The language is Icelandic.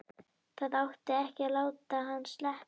Það átti ekki að láta hann sleppa!